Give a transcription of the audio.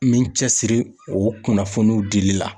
N bɛ n cɛsiri o kunnafoniw dili la.